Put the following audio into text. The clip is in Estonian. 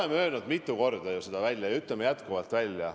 Me oleme seda kõike öelnud ju mitu korda ja ütleme jätkuvalt.